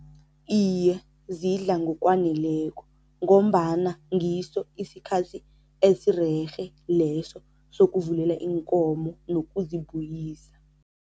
Iye. zidla ngokwaneleko ngombana ngiso isikhathi esirerhe leso sokuvulela iinkomo nokuzibuyisa.